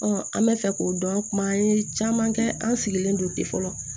an bɛ fɛ k'o dɔn kuma an ye caman kɛ an sigilen don ten fɔlɔ